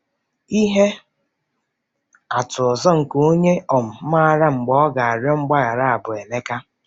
Ihe atụ ọzọ nke onye um maara mgbe ọ ga-arịọ mgbaghara bụ Emeka.